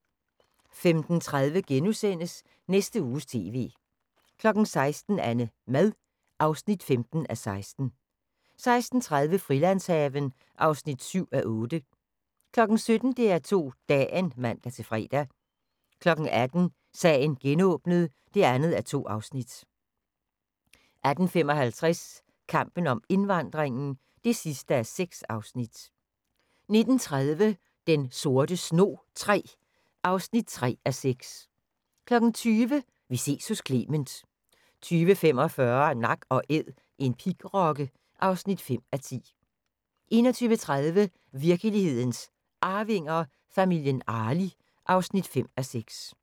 15:30: Næste Uges TV * 16:00: AnneMad (15:16) 16:30: Frilandshaven (7:8) 17:00: DR2 Dagen (man-fre) 18:00: Sagen genåbnet (2:2) 18:55: Kampen om indvandringen (6:6) 19:30: Den sorte snog III (3:6) 20:00: Vi ses hos Clement 20:45: Nak & Æd – en pigrokke (5:10) 21:30: Virkelighedens Arvinger: Familien Arli (5:6)